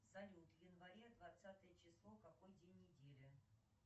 салют в январе двадцатое число какой день недели